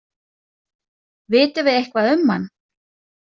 Vitum við eitthvað um hann?